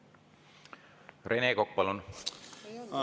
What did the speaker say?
Rene Kokk, palun!